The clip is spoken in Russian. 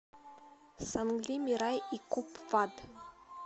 сангли мирай и купвад